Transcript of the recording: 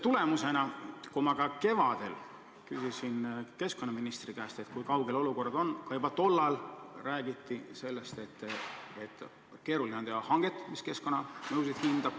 Kui ma kevadel keskkonnaministri käest küsisin, kui kaugel see olukord on, siis juba tollal räägiti, et keeruline on teha hanget, hindamaks keskkonnamõjusid.